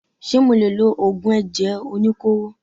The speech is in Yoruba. Ṣé mo lè lo Ògùn ẹ̀jẹ̀ oníkóró.?